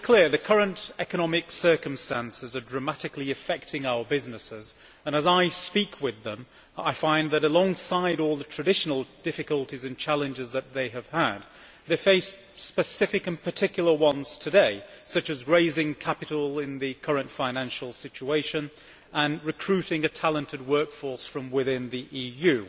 The current economic circumstances are dramatically affecting our businesses and as I speak with them I find that alongside all the traditional difficulties and challenges that they have had, they face specific and particular ones today such as raising capital in the current financial situation and recruiting a talented work force from within the EU.